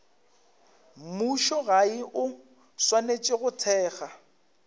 mmušogae o swanetše go thekga